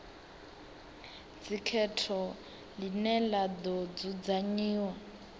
dzikhetho ḽine ḽa ḓo dzudzanyiwa